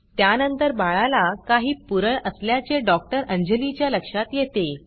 त्यानंतर बाळाला काही पुरळ असल्याचे डॉक्टर अंजली च्या लक्षात येते